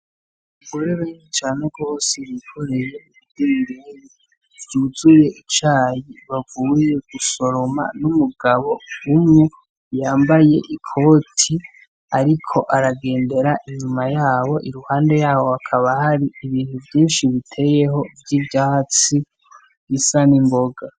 Abagore benshi cane gose bikoreye idenderi vyuzuye icayi bavuye gusoroma n'umugabo umwe yambaye ikoti, ariko aragendera inyuma yabo iruhande yabo akaba hari ibintu vyinshi biteyeho vy'ivyatsi bisa n'imboga.